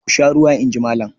"Ku sha ruwa!" In ji Malam.